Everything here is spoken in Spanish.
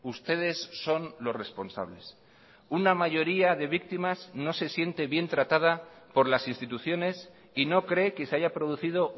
ustedes son los responsables una mayoría de víctimas no se siente bien tratada por las instituciones y no cree que se haya producido